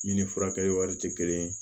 Min ni furakɛli wari ti kelen ye